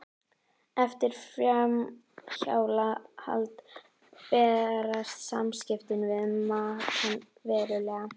Eftir framhjáhald breytast samskiptin við makann verulega.